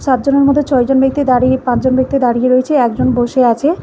পাঁচজনের মধ্যে ছয়জন ব্যক্তি দাঁড়িয়ে পাঁচজন ব্যক্তি দাঁড়িয়ে রয়েছে একজন বসে আছে।